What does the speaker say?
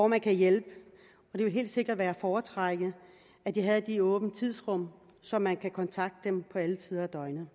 man kan hjælpe og det ville helt sikkert være at foretrække at de havde en åbningstid så man kunne kontakte dem på alle tider af døgnet